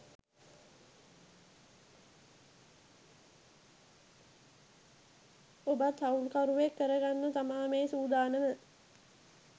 ඔබත් හවුල් කරුවෙක් කරගන්න තමා මේ සූදානම.